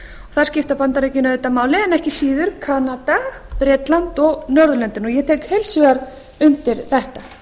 þar skipta bandaríkin auðvitað máli en ekki síður kanada bretland og norðurlöndin og ég tek heils hugar undir þetta